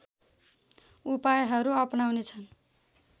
उपायहरू अपनाउने छन्